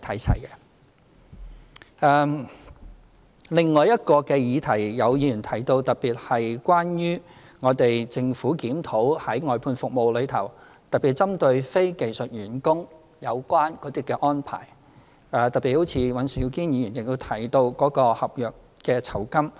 此外，有議員提到有關政府檢討外判服務的事宜，特別針對非技術員工的有關安排，而尹兆堅議員亦特別提到合約酬金的問題。